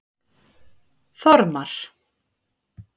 Þormar